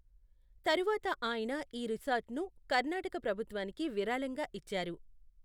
తరువాత ఆయన ఈ రిసార్ట్ను కర్ణాటక ప్రభుత్వానికి విరాళంగా ఇచ్చారు.